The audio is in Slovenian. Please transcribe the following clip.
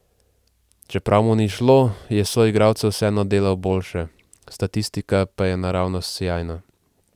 Čeprav mu ni šlo, je soigralce vseeno delal boljše, statistika pa je naravnost sijajna.